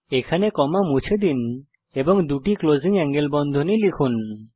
এখানে কমা মুছে দিন এবং দুটি ক্লোজিং এঙ্গেল বন্ধনী লিখুন